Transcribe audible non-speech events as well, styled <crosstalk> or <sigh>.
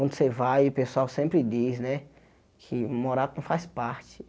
Onde você vai, o pessoal sempre diz né que <unintelligible> faz parte.